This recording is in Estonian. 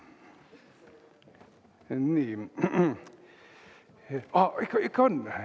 Nii, ikka on!